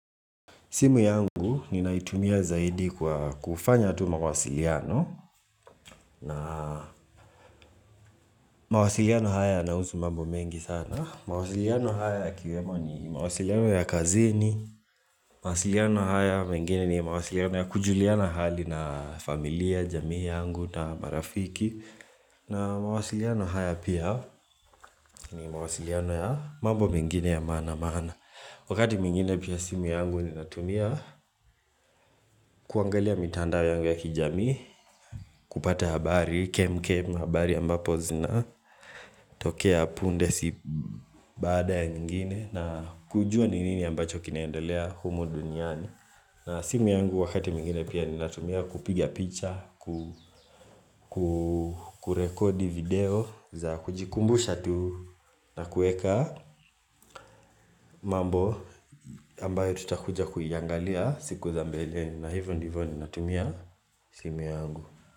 Simu yangu ninaitumia zaidi kufanya tu mawasiliano na mawasiliano haya yanahusu mambo mengi sana. Mawasiliano haya yakiwemo ni mawasiliano ya kazini, mawasiliano hayo mengine ni mawasiliano ya kujuliana hali na familia, jamii yangu na marafiki. Na mawasiliano haya pia ni mawasiliano ya mambo mengine ya maana-maana. Wakati mwingine pia simu yangu ni natumia kuangalia mitandao yangu ya kijamii kupata habari, kem kem, habari ambapo zina tokea punde si baada ya nyingine na kujua ni nini ambacho kinaendelea humu duniani na simu yangu wakati mwingine pia ni natumia kupiga picha kurekodi video za kujikumbusha tu na kuweka mambo ambayo tutakuja kuiangalia siku za mbeleni na hivyo ndivo ninatumia simu yangu.